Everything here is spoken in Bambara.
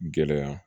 Gɛlɛya